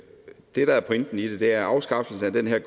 det der er pointen i det er at afskaffelsen af